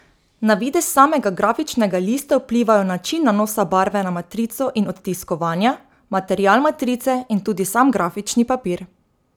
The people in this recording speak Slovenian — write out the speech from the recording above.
Na videz samega grafičnega lista vplivajo način nanosa barve na matrico in odtiskovanja, material matrice in tudi sam grafični papir.